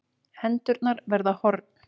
Hendurnar verða horn.